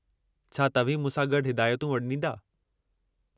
छा तव्हीं मूंसां गॾु हिदायतूं वंॾींदा?